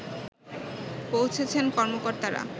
পৌঁছেছেন কর্মকর্তারা